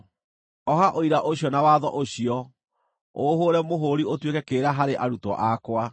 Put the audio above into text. Oha ũira ũcio na watho ũcio, ũũhũũre mũhũũri ũtuĩke kĩrĩra harĩ arutwo akwa.